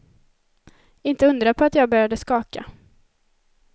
Inte undra på att jag började skaka.